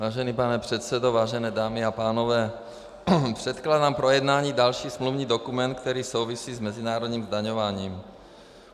Vážený pane předsedo, vážené dámy a pánové, předkládám k projednání další smluvní dokument, který souvisí s mezinárodním zdaňováním.